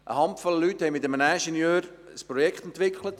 Eine Handvoll Leute haben mit einem Ingenieur ein Projekt entwickelt.